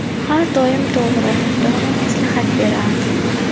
Har doim to‘g‘ri, dono maslahat berardi.